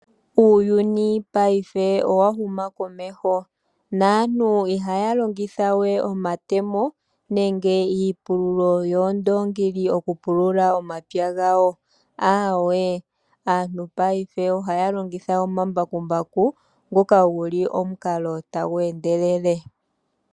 Uuyuni paife owa huma komeho. Aantu ihaa longitha we omatemo nenge iipululo yuundongi opo ya pulule, ihe ohaa longitha omambakumbaku na oha ga endelele okupulula.